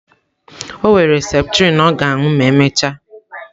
O were septrin ọ ga-aṅụ ma emechaa.